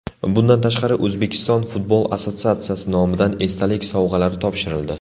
Bundan tashqari O‘zbekiston futbol assotsiatsiyasi nomidan esdalik sovg‘alari topshirildi.